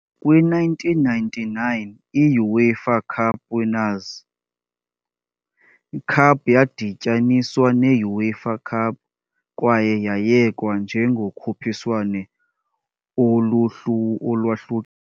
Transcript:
Kwi-1999, i-UEFA Cup Winners' Cup yadityaniswa ne-UEFA Cup kwaye yayekwa njengokhuphiswano olwahluk.